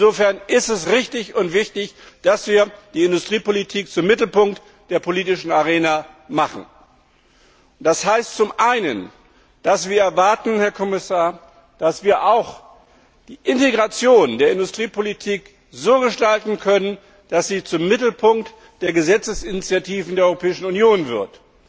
Insofern ist es richtig und wichtig, dass wir die Industriepolitik zum Mittelpunkt der politischen Arena machen. Das heißt zum einen, dass wir erwarten, Herr Kommissar, dass wir auch die Integration der Industriepolitik so gestalten können, dass sie zum Mittelpunkt der Gesetzesinitiativen der Europäischen Union wird.